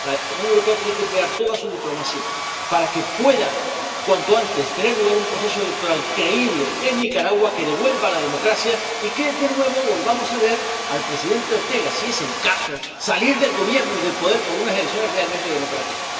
La Unión Europea tiene que emplear toda su diplomacia para que pueda, cuanto antes, tener lugar un proceso electoral creíble en Nicaragua que devuelva la democracia y que, de nuevo, volvamos a ver al presidente Ortega, si es el caso, salir del Gobierno y del poder por unas elecciones realmente democráticas.